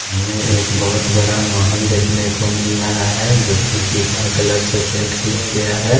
हमें एक बहोत बड़ा महल देखने को मिल रहा हैं जो कि पीला कलर से पेंट किया गया हैं।